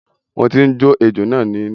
Mo ti ń jó ejó náà ní iná.